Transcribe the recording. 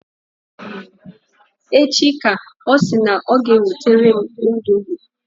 Echi ka ọ sị na ọ ga-ewetere m indomi.